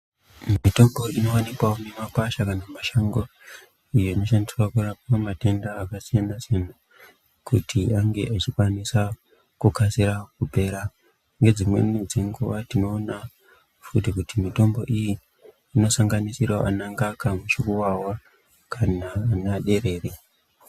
Mitombo inowanikwa mumakwasha kana mumashango iyo inoshandiswa kurapa matenda akasiyana siyana kuti ange echikwanisa kukasira kupera ngedzimweni dzenguwa tinoona fti kuti mitombo iyi inosanganisira ana ngaka , muchukuwawa kana ana derere.